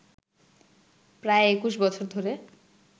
প্রায় ২১ বছর ধরে